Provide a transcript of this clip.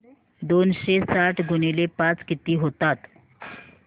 दोनशे साठ गुणिले पाच किती होतात